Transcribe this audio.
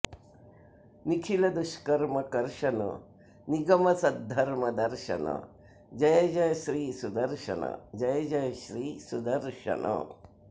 निखिल दुष्कर्म कर्शन निगम सद्धर्म दर्शन जय जय श्री सुदर्शन जय जय श्री सुदर्श्नन